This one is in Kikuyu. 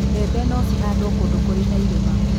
mbembe no cihandũo kũndũ kũri na irĩma